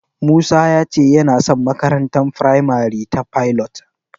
Musa ya ce yana son makarantar firamare ta Pilot.